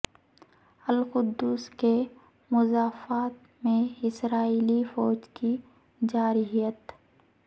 القدس کے مضافات میں اسرائیلی فوج کی جارحیت